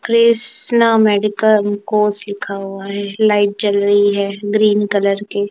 Krishna medical course लिखा हुआ है लाइट जल रही है ग्रीन कलर की।